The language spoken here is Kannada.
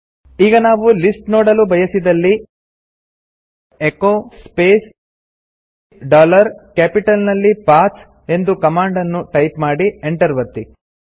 ಈಗ ನಾವು ಲಿಸ್ಟ್ ನೋಡಲು ಬಯಸಿದಲ್ಲಿ ಎಚೊ ಸ್ಪೇಸ್ ಡಾಲರ್ ಕ್ಯಾಪಿಟಲ್ ನಲ್ಲಿ ಪಥ್ ಎಂದು ಕಮಾಂಡ್ ನ್ನು ಟೈಪ್ ಮಾಡಿ ಎಂಟರ್ ಒತ್ತಿ